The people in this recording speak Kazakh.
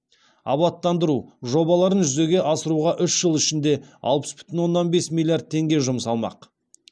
абаттандыру жобаларын жүзеге асыруға үш жыл ішінде алпыс бүтін оннан бес миллиард теңге жұмсалмақ